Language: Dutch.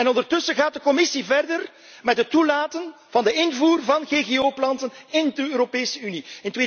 dit. Ondertussen gaat de Commissie verder met het toelaten van de invoer van GGO planten in de Europese